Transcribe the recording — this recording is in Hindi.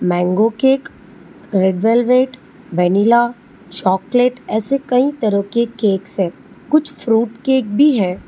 मांगो cake red velvet vanilla chocolate cake ऐसे कई तरह के केक्स हैं कुछ फ्रूट केक भी हैं।